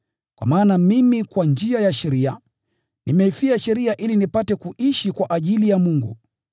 Kwa maana mimi kwa njia ya sheria, nimeifia sheria ili nipate kuishi kwa ajili ya Mungu.